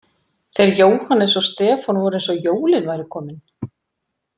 Þeir Jóhannes og Stefán voru eins og jólin væru komin.